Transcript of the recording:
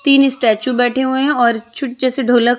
तीन स्टैच्यू बैठे हुए है और छूट जैसे ढोलक--